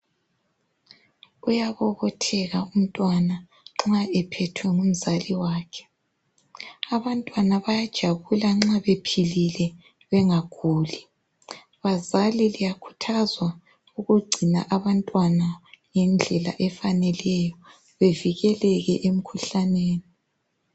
Uyabobotheka umtwana nxa ephethwe ngumzali wakhe. Abantwana bayajabula nxa bephilile bangaguli. Bazali liyakhuthazwa ukugcina abantwana ngendlela efaneleyo bevikeleke emikhuhlaneni.